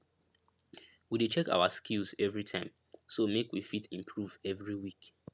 we dey check awa skills everytime so make we fit improve every week